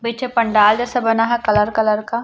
बीच पंडाल जैसा बना है कलर कलर का--